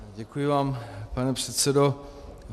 Děkuji vám, pane předsedo.